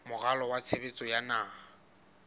moralo wa tshebetso wa naha